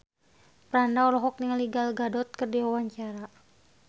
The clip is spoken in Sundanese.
Franda olohok ningali Gal Gadot keur diwawancara